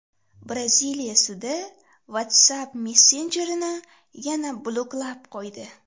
Braziliya sudi WhatsApp messenjerini yana bloklab qo‘ydi.